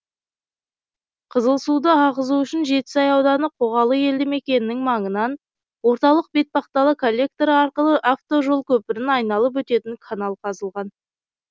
қызылсуды ағызу үшін жетісай ауданы қоғалы елді мекенінің маңынан орталық бетпақдала коллекторы арқылы автожол көпірін айналып өтетін канал қазылған